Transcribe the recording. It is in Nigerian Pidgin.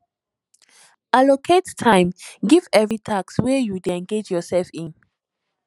allocate time give every task wey you dey engage yourself in